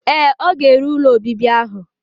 Ee, ọ ga-ere ụlọ obibi ahụ.